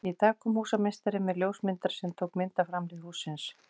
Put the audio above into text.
Í dag kom húsameistari með ljósmyndara sem tók mynd af framhlið hússins.